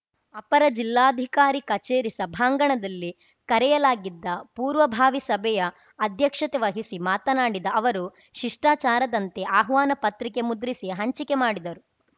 ಅಪರ ಜಿಲ್ಲಾಧಿಕಾರಿ ಕಚೇರಿ ಸಭಾಂಗಣದಲ್ಲಿ ಕರೆಯಲಾಗಿದ್ದ ಪೂರ್ವಭಾವಿ ಸಭೆಯ ಅಧ್ಯಕ್ಷತೆ ವಹಿಸಿ ಮಾತನಾಡಿದ ಅವರು ಶಿಷ್ಟಾಚಾರದಂತೆ ಆಹ್ವಾನ ಪತ್ರಿಕೆ ಮುದ್ರಿಸಿ ಹಂಚಿಕೆ ಮಾಡಿದರು